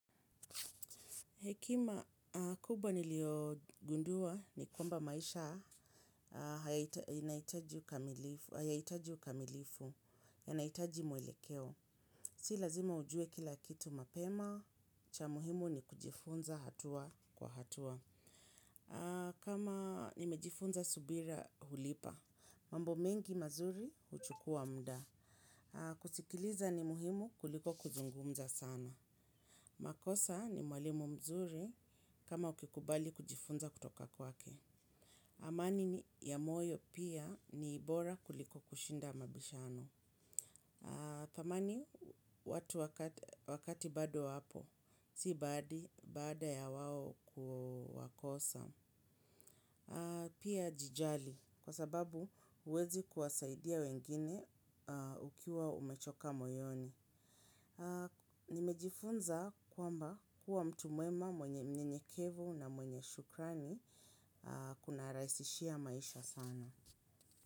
Hekima, kubwa niliogundua ni kwamba maisha hayahitaji ukamilifu, yanahitaji mwelekeo. Si lazima ujue kila kitu mapema, cha muhimu ni kujifunza hatua kwa hatua. Kama nimejifunza subira hulipa, mambo mengi mazuri uchukua mda. Kusikiliza ni muhimu kuliko kuzungumza sana. Makosa ni mwalimu mzuri kama ukikubali kujifunza kutoka kwake. Amani ni ya moyo pia ni bora kuliko kushinda mabishano. Tamani watu wakati bado wapo, si baada ya wao kuwakosa. Pia jijali kwa sababu huwezi kuwasaidia wengine ukiwa umechoka moyoni. Nimejifunza kwamba kuwa mtu mwema mwenye mnyenyekevu na mwenye shukrani kunarahisishia maisha sana.